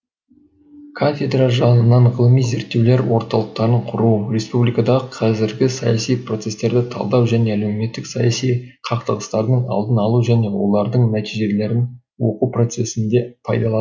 кафедра жанынан ғылыми зерттеулер орталықтарын құру республикадағы қазіргі саяси процестерді талдау және әлеуметтік саяси қақтығыстардың алдын алу және олардың нәтижелерін оқу процесінде пайдалану